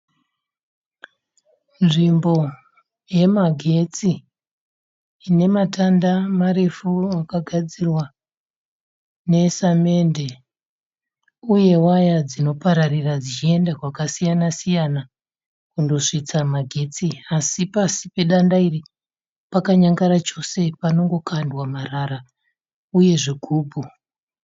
Nzvimbo yemagetsi, inematanda marefu akagadzirwa nesamende. Uye waya dzino dzinopararira dzichienda kwakasiyana siyana kundosvitsa magetsi. Asi pasi pedanda iri pakanyangara chose panongokandwa marara uye zvigumbu.